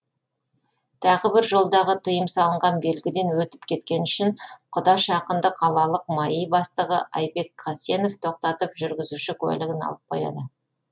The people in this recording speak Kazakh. тағы бірде жолдағы тыйым салынған белгіден өтіп кеткені үшін құдаш ақынды қалалық маи бастығы айбек қасенов тоқтатып жүргізуші куәлігін алып қояды